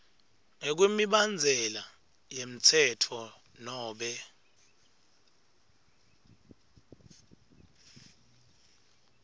ngekwemibandzela yemtsetfo nobe